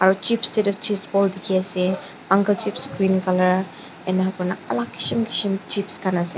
aru chips se cheezballs dekhi ase unclechips green colour ening ka koina alag alag kishim kishim chips khan ase.